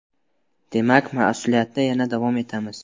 Demak, mas’uliyatda yana davom etamiz”.